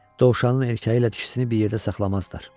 Dovşanın erkəyi ilə dişisini bir yerdə saxlamazlar.